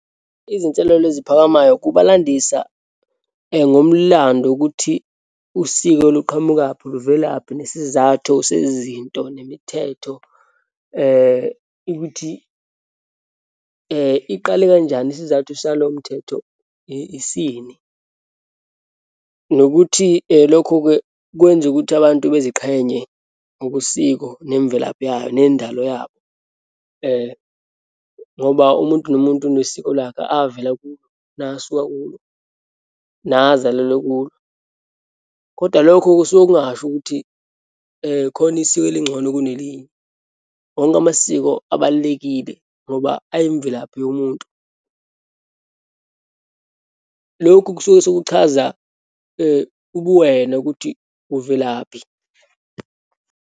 Izinselelo ezisiphakamayo kuba landisa ngomlando ukuthi usiko luqhamukaphi, luvelaphi, nesizathu sezinto, nemithetho ukuthi iqale kanjani, isizathu salo mthetho isini. Nokuthi lokhu-ke kwenza ukuthi abantu beziqhenye ngobusiko nemvelaphi yayo, nendalo yabo. Ngoba umuntu nomuntu unesiko lakhe, avela kulo, nasuka kulo, nazalelwa kulo. Kodwa lokho kusuke kungasho ukuthi khona isiko elingcono kunelinye, wonke amasiko abalulekile ngoba ayimvelaphi yomuntu. Lokhu kusuke sekuchaza ubuwena ukuthi uvelaphi.